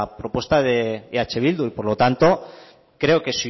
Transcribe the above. propuesta de eh bildu y por lo tanto creo que